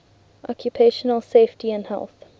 occupational safety and health